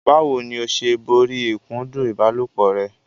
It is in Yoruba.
Báwo ni o ṣe borí ìkúndù ìbálòpọ̀ rẹ?